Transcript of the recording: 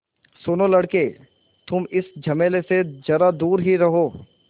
सुनो लड़के तुम इस झमेले से ज़रा दूर ही रहो